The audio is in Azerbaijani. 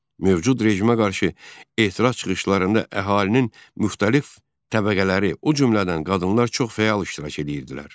Mövcud rejimə qarşı etiraz çıxışlarında əhalinin müxtəlif təbəqələri, o cümlədən qadınlar çox fəal iştirak edirdilər.